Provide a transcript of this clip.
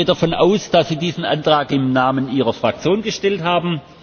Ich gehe davon aus, dass Sie diesen Antrag im Namen Ihrer Fraktion gestellt haben.